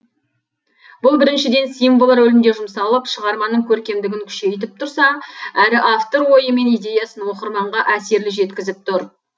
бұл біріншіден символ рөлінде жұмсалып шығарманың көркемдігін күшейтіп тұрса әрі автор ойы мен идеясын оқырманға әсерлі жеткізіп тұр